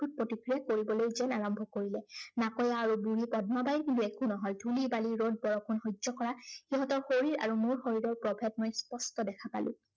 খুব প্ৰতিক্ৰিয়া কৰিবলৈ যেন আৰম্ভ কৰিলে। নাকৈয়া আৰু দুয়ো পদ্মাবাইৰ কিন্তু একো নহল। ধূলি, বালি, ৰদ বৰষুণ সহ্য় কৰা, সিহঁতৰ শৰীৰ আৰু মোৰ শৰীৰৰ প্ৰভেদ মই স্পষ্ট দেখা পালো।